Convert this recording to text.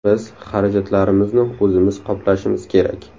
Biz xarajatlarimizni o‘zimiz qoplashimiz kerak.